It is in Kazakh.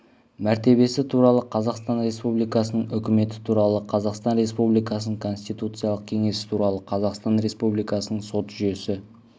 мәртебесі туралы қазақстан республикасының үкіметі туралы қазақстан республикасының конституциялық кеңесі туралы қазақстан республикасының сот жүйесі